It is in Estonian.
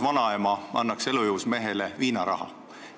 Võrdlusena: see on sama nagu vanaema annaks elujõus mehele viinaraha.